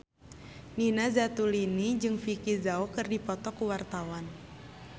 Nina Zatulini jeung Vicki Zao keur dipoto ku wartawan